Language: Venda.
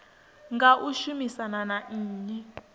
nga u shumisana na nnyi